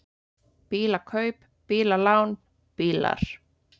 BÍLAKAUP, BÍLALÁN, BÍLAR